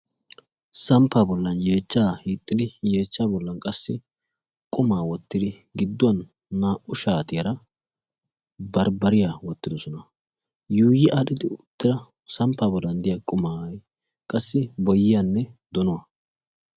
samppa bollan yeechchaa hiixxidi yeechcha bollan qassi qumaa wottidi gidduwan naa'u shaatiyaara barbbariyaa wottidosona. yuuyi addhidi uuuttida samppaa bollan diya qumaa qassi boyiyaanne donuwaa